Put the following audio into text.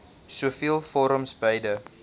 soveel forums beide